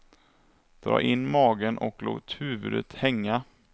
Dra in magen och låt huvudet hänga.